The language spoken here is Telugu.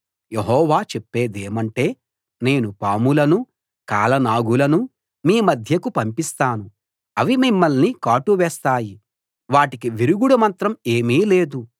యెహోవా చెప్పేదేమంటే నేను పాములనూ కాలనాగులనూ మీ మధ్యకు పంపిస్తాను అవి మిమ్మల్ని కాటు వేస్తాయి వాటికి విరుగుడు మంత్రం ఏమీ లేదు